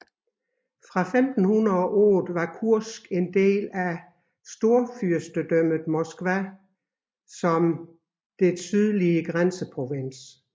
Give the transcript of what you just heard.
Fra 1508 var Kursk en del af Storfyrstedømmet Moskva som dets sydlige grænseprovins